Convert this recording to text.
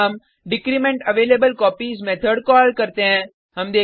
फिर हम decrement available copies method call करते हैं